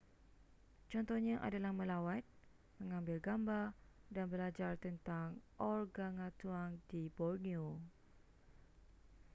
contohnya adalah melawat mengambil gambar dan belajar tentang organgatuang di borneo